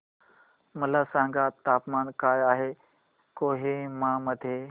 मला सांगा तापमान काय आहे कोहिमा मध्ये